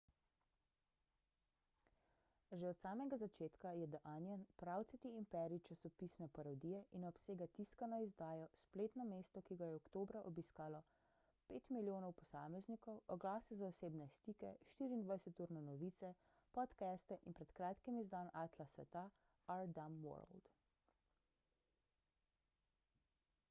že od samega začetka je the onion pravcati imperij časopisne parodije in obsega tiskano izdajo spletno mesto ki ga je oktobra obiskalo 5.000.000 posameznikov oglase za osebne stike 24-urne novice podcaste in pred kratkim izdan atlas sveta our dumb world